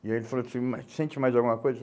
E aí ele falou assim, mas sente mais alguma coisa?